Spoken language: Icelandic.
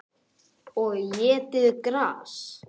Og étið gras.